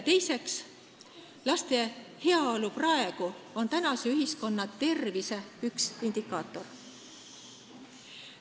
Teiseks, laste heaolu praegu on tänase ühiskonna tervise üks indikaatoreid.